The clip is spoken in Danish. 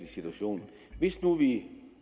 situation hvis nu vi